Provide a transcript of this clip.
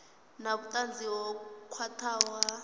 na vhutanzi ho khwathaho ha